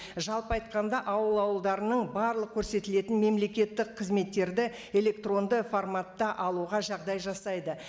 жалпы айтқанда ауыл ауылдарының барлық көрсетілетін мемлекеттік қызметтерді электронды форматта алуға жағдай жасайды